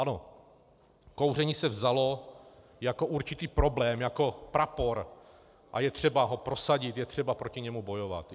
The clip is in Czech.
Ano, kouření se vzalo jako určitý problém, jako prapor a je třeba ho prosadit, je třeba proti němu bojovat.